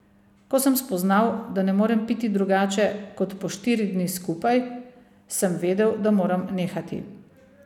Ko sem spoznal, da ne morem piti drugače kot po štiri dni skupaj, sem vedel, da moram nehati.